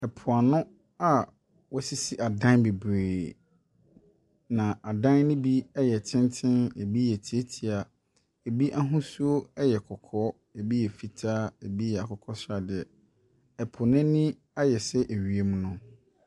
Ɛpo ano a wɔasisi adan bebree. Na adan no bi yɛ tenten na ebi yɛ tietia. Ebi ahosuo yɛ kɔkɔɔ, ebi yɛ fitaa, ebi yɛ akokɔsradeɛ. Ɛpo no ani ayɛ sɛ wiem no.